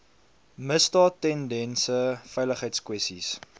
misdaad tendense veiligheidskwessies